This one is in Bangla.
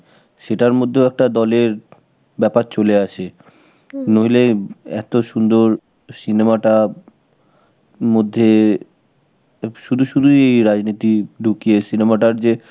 সেটার মধ্যেও একটা দলের ব্যাপার চলে আসে. নইলে এত সুন্দর cinema টা মধ্যে শুধু শুধুই এই রাজনীতি ঢুকিয়ে cinema টার যে